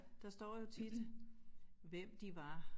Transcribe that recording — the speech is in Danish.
Der står jo tit hvem de var